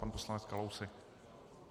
Pan poslanec Kalousek.